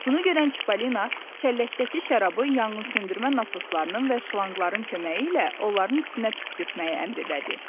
Bunu görən Çipollino çəlləkdəki şərabı yanğınsöndürmə nasoslarının və şlanqların köməyi ilə onların üstünə püskürtməyi əmr elədi.